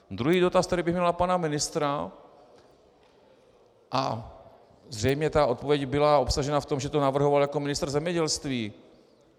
Druhý dotaz, který bych měl na pana ministra, a zřejmě ta odpověď byla obsažena v tom, že to navrhoval jako ministr zemědělství.